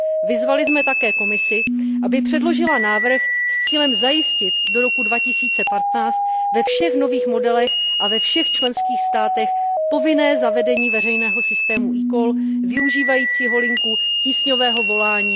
Vyzvali jsme také Komisi, aby předložila návrh s cílem zajistit do roku 2015 ve všech nových modelech a ve všech členských státech povinné zavedení veřejného systému eCall využívajícího linku tísňového volání